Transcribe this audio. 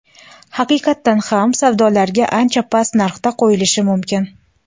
haqiqatdan ham savdolarga ancha past narxda qo‘yilishi mumkin.